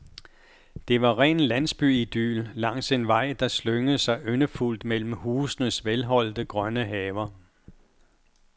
Det var ren landsbyidyl langs en vej, der slyngede sig yndefuldt mellem husenes velholdte grønne haver.